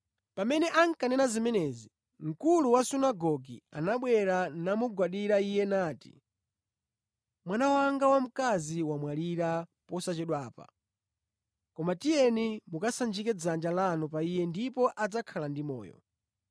Pamene ankanena zimenezi, mkulu wa sunagoge anabwera namugwadira Iye nati, “Mwana wanga wamkazi wamwalira posachedwapa koma tiyeni mukasanjike dzanja lanu pa iye ndipo adzakhala ndi moyo.”